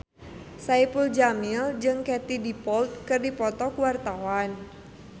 Saipul Jamil jeung Katie Dippold keur dipoto ku wartawan